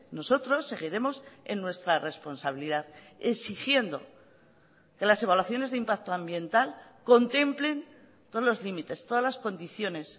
nosotros seguiremos en nuestra responsabilidad exigiendo que las evaluaciones de impacto ambiental contemplen todos los límites todas las condiciones